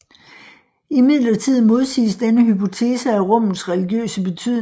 Imidlertid modsiges denne hypotese af rummets religiøse betydning